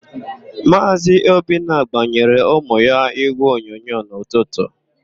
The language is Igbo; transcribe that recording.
Maazị Obinna gbayeere ụmụ ya ígwèonyonyo n'ụtụtụ.